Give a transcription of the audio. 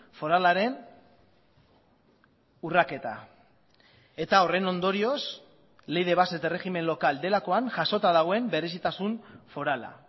foralaren urraketa eta horren ondorioz ley de bases de régimen local delakoan jasota dagoen berezitasun forala